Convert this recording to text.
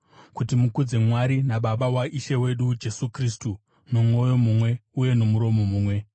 kuti mukudze Mwari naBaba waIshe wedu Jesu Kristu nomwoyo mumwe uye nomuromo mumwe.